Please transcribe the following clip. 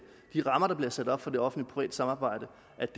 de rammer der bliver sat op for det offentlig private samarbejde